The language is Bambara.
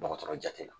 Dɔgɔtɔrɔ jate la